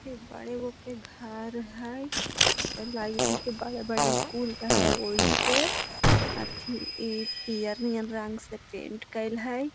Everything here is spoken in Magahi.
एबर एगो के घर हई लागित हई की बड़े-बड़े स्कूल रहा हई ओइसे। अथी ई पियर नियर रंग से पेंट करल हई।